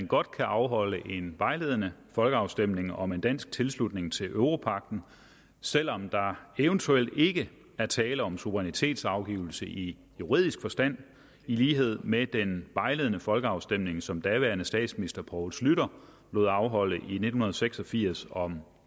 godt kan afholde en vejledende folkeafstemning om en dansk tilslutning til europagten selv om der eventuelt ikke er tale om suverænitetsafgivelse i juridisk forstand i lighed med den vejledende folkeafstemning som daværende statsminister poul schlüter lod afholde i nitten seks og firs om